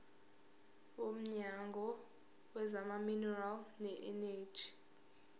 womnyango wezamaminerali neeneji